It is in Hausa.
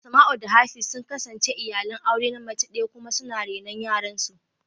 Asmau da Hafiz sun kasance iyalan aure na mace daya kuma suna renon yaran su.